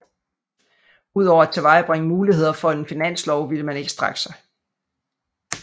Ud over at tilvejebringe muligheder for en finanslov ville man ikke strække sig